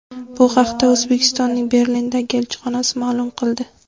Bu haqda O‘zbekistonning Berlindagi elchixonasi ma’lum qildi .